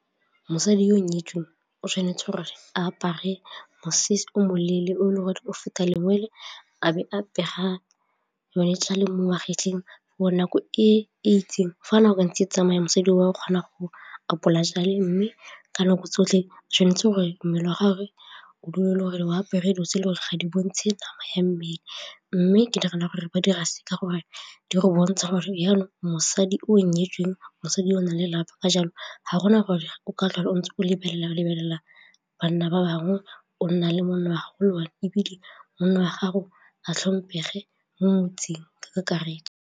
Mosadi yo o nyetsweng o tshwanetse gore a apare mosese o moleele o e le gore o feta lengwe le a be a pega le mo wa fitlhetseng bo nako e itseng fa nako e ntse e tsamaya mosadi o kgona go o apola tšale mme ka nako tsotlhe tshwanetse gore mmele wa gagwe o dule le gore o apere dilo tse le gore ga di bontshe nama ya mmele mme ke direla gore ba dira seka gore di go bontsha gore jalo mosadi o nyetsweng mosadi o na lelapa ka jalo ga gona gore o ntse o lebelela-lebelela banna ba bangwe o nna le monna wa ebile monna wa gago a tlhomphege mo motseng ka kakaretso.